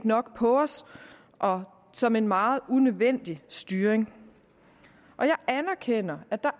nok på os og som en meget unødvendig styring jeg anerkender at der